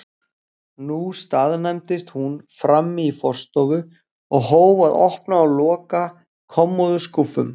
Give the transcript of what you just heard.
Nú staðnæmdist hún frammi í forstofu og hóf að opna og loka kommóðuskúffum.